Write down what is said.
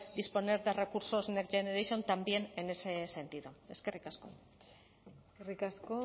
disponer de recursos next generation también en ese sentido eskerrik asko eskerrik asko